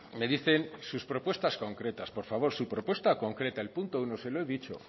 me dicen sus propuestas concretas por favor su propuesta concreta el punto uno se lo he dicho